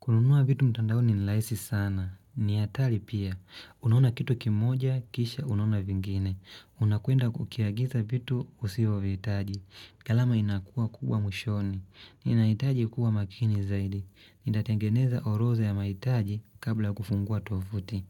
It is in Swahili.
Kununuwa vitu mtandaoni ni rahisi sana. Ni hatari pia. Unaona kitu kimoja, kisha unaona vingine. Unakwenda kukiagiza vitu usiovihitaji. Gharama inakuwa kubwa mwishoni. Ninahitaji kuwa makini zaidi. Nitatengeneza orodha ya mahitaji kabla ya kufungua tovuti.